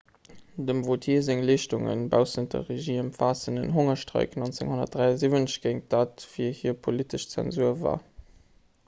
dem vautier seng leeschtunge baussent der regie ëmfaassen en hongerstreik 1973 géint dat wat fir hie politesch zensur war